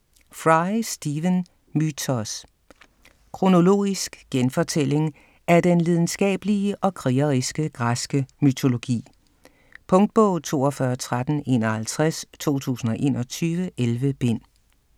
Fry, Stephen: Mythos Kronologisk genfortælling af den lidenskabelige og krigeriske græske mytologi. Punktbog 421351 2021. 11 bind.